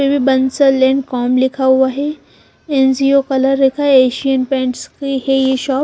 com लिखा हुआ है अन्जियो कलर का आशियेन पेंट्स की है ये शॉप --